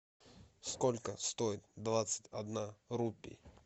сколько стоит двадцать одна рупий